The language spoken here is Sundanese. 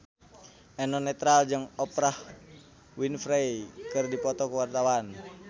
Eno Netral jeung Oprah Winfrey keur dipoto ku wartawan